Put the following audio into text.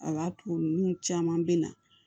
A ka to nun caman bɛ na